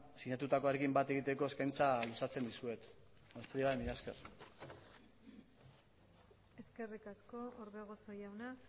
sinatutakoarekin bat egiteko eskaintza luzatzen dizuet besterik gabe mila esker eskerrik asko orbegozo jauna